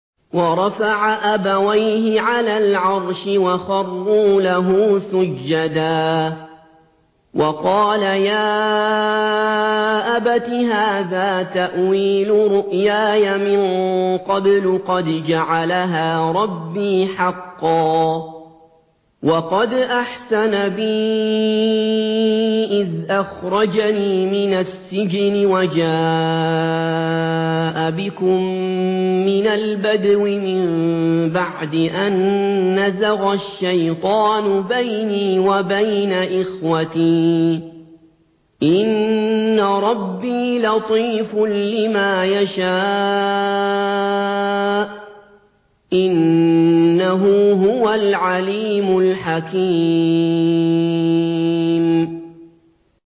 وَرَفَعَ أَبَوَيْهِ عَلَى الْعَرْشِ وَخَرُّوا لَهُ سُجَّدًا ۖ وَقَالَ يَا أَبَتِ هَٰذَا تَأْوِيلُ رُؤْيَايَ مِن قَبْلُ قَدْ جَعَلَهَا رَبِّي حَقًّا ۖ وَقَدْ أَحْسَنَ بِي إِذْ أَخْرَجَنِي مِنَ السِّجْنِ وَجَاءَ بِكُم مِّنَ الْبَدْوِ مِن بَعْدِ أَن نَّزَغَ الشَّيْطَانُ بَيْنِي وَبَيْنَ إِخْوَتِي ۚ إِنَّ رَبِّي لَطِيفٌ لِّمَا يَشَاءُ ۚ إِنَّهُ هُوَ الْعَلِيمُ الْحَكِيمُ